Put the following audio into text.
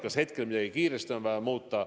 Mõeldakse, kas on vaja midagi kiiresti muuta.